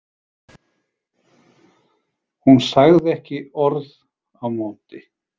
Hún sagði ekki orð á móti.